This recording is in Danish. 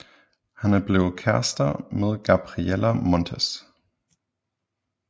Han er blevet kærester med Gabriella Montez